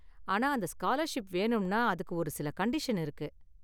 ஆனா, அந்த ஸ்காலர்ஷிப் வேணும்னா அதுக்கு ஒரு சில கண்டிஷன் இருக்கு.